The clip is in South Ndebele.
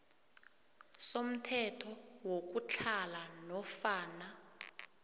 somthetho wokutlhala nofana